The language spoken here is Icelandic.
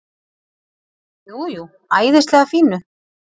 Jú, jú, æðislega fínu.